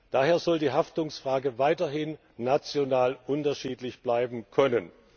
Daher soll die Haftungsfrage weiterhin national unterschiedlich bleiben können.